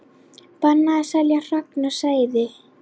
Bannað að selja hrogn og seiði